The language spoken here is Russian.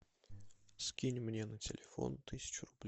скинь мне на телефон тысячу рублей